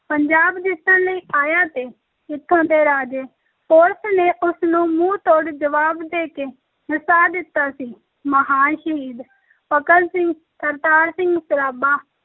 ਪੰਜਾਬ ਜਿੱਤਣ ਲਈ ਆਇਆ ਤੇ ਇੱਥੋਂ ਦੇ ਰਾਜੇ ਪੋਰਸ ਨੇ ਉਸ ਨੂੰ ਮੂੰਹ ਤੋੜ ਜਵਾਬ ਦੇ ਕੇ ਨਸਾ ਦਿੱਤਾ ਸੀ, ਮਹਾਨ ਸ਼ਹੀਦ ਭਗਤ ਸਿੰਘ, ਕਰਤਾਰ ਸਿੰਘ ਸਰਾਭਾ,